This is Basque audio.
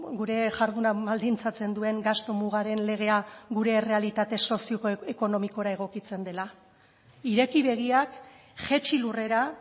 gure jarduna baldintzatzen duen gastu mugaren legea gure errealitate sozioekonomikora egokitzen dela ireki begiak jaitsi lurrera